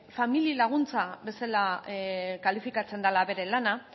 familia laguntza bezala kalifikatzen dela euren lana